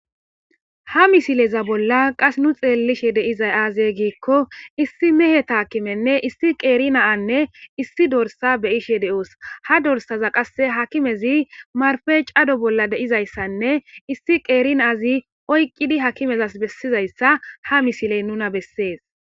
ha misileza bolla qas nu xeellishe deizay aaze giikko issi mehe taakimenne issi qeeri naanne issi dorsa beyishe de7oos ha dorsaza qasse hakimezi marfe cado bolla deizayssanne issi qeeri naaazi oyqqidi hakimezas bessizayssa ha misiley nuna bessees